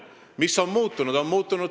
Mis on muutunud?